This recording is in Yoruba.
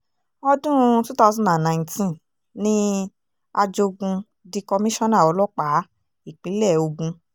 ọdún twenty nineteen ni ajogun di kọmíṣánná ọlọ́pàá ìpínlẹ̀ ogun